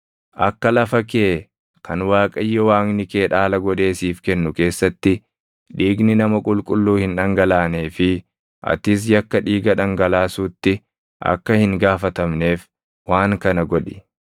Akka lafa kee kan Waaqayyo Waaqni kee dhaala godhee siif kennu keessatti dhiigni nama qulqulluu hin dhangalaanee fi atis yakka dhiiga dhangalaasuutti akka hin gaafatamneef waan kana godhi.